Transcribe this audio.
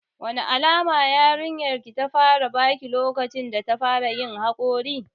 Wane alamu yarinyar ki ta fara baki lokacin data fara yin haƙori?